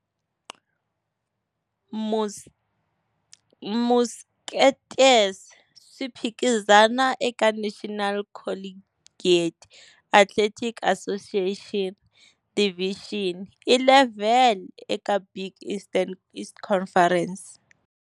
Musketeers, swi phikizana eka National Collegiate Athletic Association NCAA, Division I level eka Big East Conference.